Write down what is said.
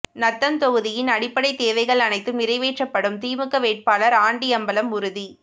நத்தம் தொகுதியின் அடிப்படை தேவைகள் அனைத்தும் நிறைவேற்றப்படும் திமுக வேட்பாளர் ஆண்டிஅம்பலம் உறுதி